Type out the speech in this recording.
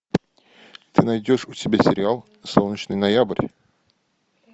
ты найдешь у себя сериал солнечный ноябрь